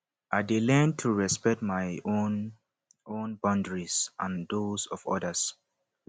i dey learn to respect my own own boundaries and those of others